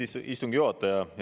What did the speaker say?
Austatud istungi juhataja!